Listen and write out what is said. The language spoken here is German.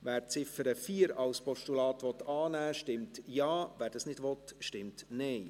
Wer die Ziffer 4 als Postulat annehmen will, stimmt Ja, wer dies nicht will, stimmt Nein.